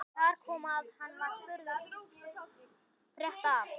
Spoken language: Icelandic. Þar kom að hann var spurður frétta af